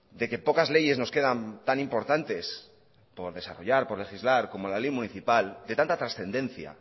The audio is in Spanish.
de que pocas leyes nos quedan tan importantes por desarrollar por legislar como la ley municipal de tanta trascendencia